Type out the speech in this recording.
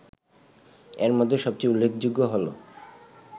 এর মধ্যে সবচেয়ে উল্লেখযোগ্য হলো